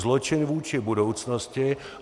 Zločin vůči budoucnosti.